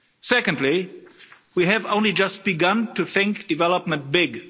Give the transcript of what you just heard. Secondly, we have only just begun to think development big.